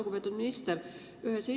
Lugupeetud minister!